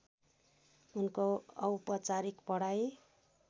उनको औपचारिक पढाइ